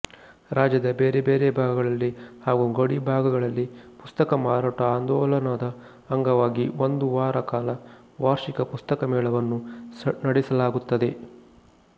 ರಾಜ್ಯದ ಬೇರೆ ಬೇರೆ ಭಾಗಗಳಲ್ಲಿ ಹಾಗೂ ಗಡಿಭಾಗಗಳಲ್ಲಿ ಪುಸ್ತಕ ಮಾರಾಟ ಆಂದೋಲನದ ಅಂಗವಾಗಿ ಒಂದುವಾರಕಾಲ ವಾರ್ಷಿಕ ಪುಸ್ತಕ ಮೇಳವನ್ನು ನಡೆಸಲಾಗುತ್ತದೆ